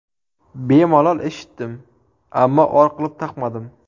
Bemalol eshitdim, ammo or qilib taqmadim.